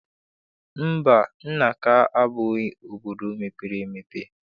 Mba, Nanka abụghị obodo mepere emepe.